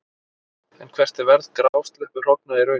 En hvert er verð grásleppuhrogna í raun?